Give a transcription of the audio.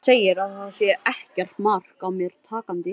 Segir að það sé ekkert mark á mér takandi.